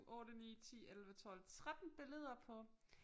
8 9 10 11 12 13 billeder på